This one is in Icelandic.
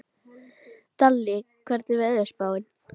Dalli, hvernig er veðurspáin?